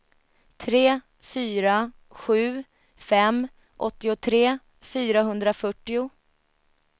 tre fyra sju fem åttiotre fyrahundrafyrtio